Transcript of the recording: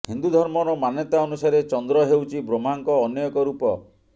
ହିନ୍ଦୁ ଧର୍ମର ମାନ୍ୟତା ଅନୁସାରେ ଚନ୍ଦ୍ର ହେଉଛି ବ୍ରହ୍ମାଙ୍କ ଅନ୍ୟ ଏକ ରୂପ